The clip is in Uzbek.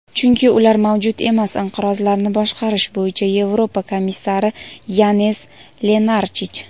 chunki ular mavjud emas – inqirozlarni boshqarish bo‘yicha Yevropa komissari Yanez Lenarchich.